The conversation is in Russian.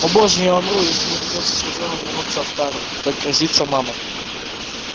о боже я умру если мне придётся с позором вернуться в тару как грозится мама